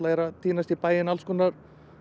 er að týnast í bæinn alls konar